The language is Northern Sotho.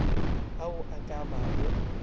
ao a ka ba go